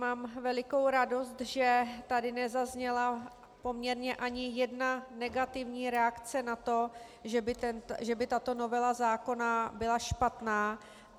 Mám velikou radost, že tady nezazněla poměrně ani jedna negativní reakce na to, že by tato novela zákona byla špatná.